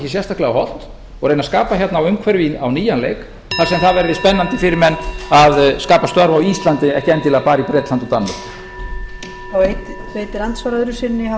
sérstaklega hollt og reyna að skapa hérna umhverfi á nýjan leik þar sem það verði spennandi fyrir menn að skapa störf á íslandi en ekki endilega bara í bretlandi og danmörku